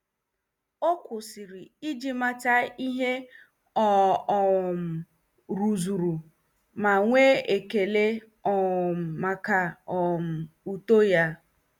O kwụsịrị iji mata ihe ọ um rụzuru ma nwee ekele um maka um uto ya.